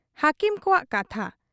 ᱦᱟᱹᱠᱤᱢ ᱠᱚᱣᱟᱜ ᱠᱟᱛᱷᱟ ᱾